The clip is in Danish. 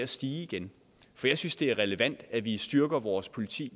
stige igen for jeg synes det er relevant at vi styrker vores politi